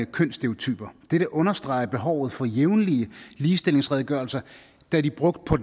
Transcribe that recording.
kønsstereotyper dette understreger behovet for jævnlige ligestillingsredegørelser da de brugt på